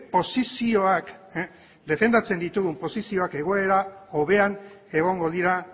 posizioak defendatzen ditugun posizioak egoera hobean egongo dira